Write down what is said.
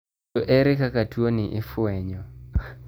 To ere kaka tuo ni ifwenyo?